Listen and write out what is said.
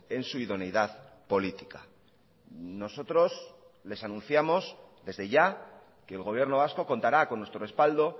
en su idoneidad política nosotros les anunciamos desde ya que el gobierno vasco contará con nuestro respaldo